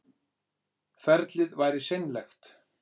Ferlið væri seinlegt